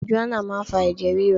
Marijuana máa ń fa ẹ̀jẹ̀ ríru.